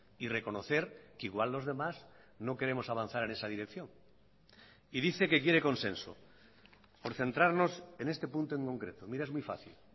y reconocer que igual los demás no queremos avanzar en esa dirección y dice que quiere consenso por centrarnos en este punto en concreto mira es muy fácil